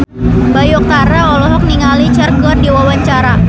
Bayu Octara olohok ningali Cher keur diwawancara